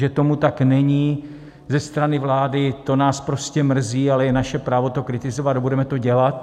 Že tomu tak není ze strany vlády, to nás prostě mrzí, ale je naše právo to kritizovat a budeme to dělat.